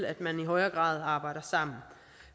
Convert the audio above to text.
at man i højere grad arbejder sammen